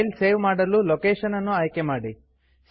file save ಮಾಡಲು location ಅನ್ನು ಆಯ್ಕೆ ಮಾಡಿ